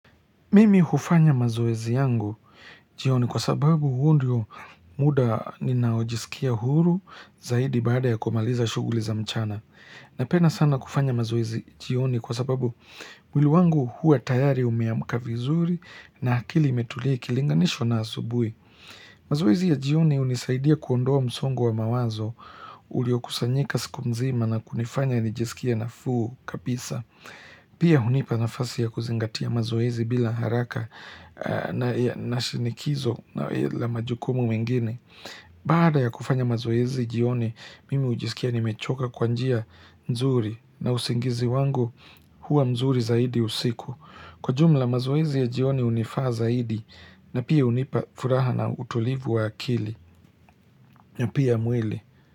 Mimi hufanya mazoezi yangu jioni kwa sababu huu ndio muda ninaojisikia huru zaidi bada ya kumaliza shughuli za mchana. Napenda sana kufanya mazoezi jioni kwa sababu, mwili wangu huwa tayari umeamka vizuri na akili imetulia ikilinganishwa na asubuhi. Mazoezi ya jioni hunisaidia kuondoa msongo wa mawazo uliokusanyika siku mzima na kunifanya nijisikie nafuu kabisa. Pia hunipa nafasi ya kuzingatia mazoezi bila haraka na shinikizo la majukumu mengine. Bada ya kufanya mazoezi jioni, mimi hujisikia nimechoka kwa njia nzuri na usingizi wangu huwa mzuri zaidi usiku. Kwa jumla mazoezi ya jioni hunifaa zaidi na pia hunipa furaha na utulivu wa akili. Na pia mwili.